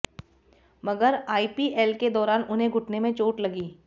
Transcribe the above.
मगर आईपीएल के दौरान उन्हें घुटने में चोट लगी